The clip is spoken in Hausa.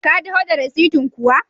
Ka taho da rasitin kuwa?